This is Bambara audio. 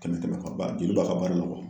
Tɛmɛ tɛmɛ ka ban, joli b'a ka baara la